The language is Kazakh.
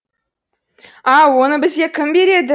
ау оны бізге кім береді